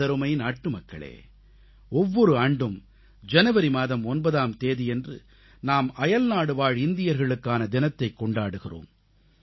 எனதருமை நாட்டுமக்களே ஒவ்வொரு ஆண்டும் ஜனவரி மாதம் 9ஆம் தேதியன்று நாம் அயல்நாடுவாழ் இந்தியர்களுக்கான தினத்தைக் கொண்டாடுகிறோம்